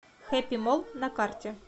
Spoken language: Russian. хэппи молл на карте